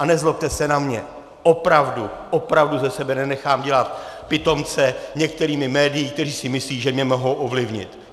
A nezlobte se na mě, opravdu, opravdu ze sebe nenechám dělat pitomce některými médii, která si myslí, že mě mohou ovlivnit!